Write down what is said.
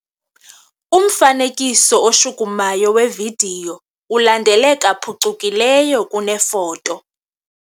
Umfanekiso oshukumayo wevidiyo ulandeleka phucukileyo kunefoto.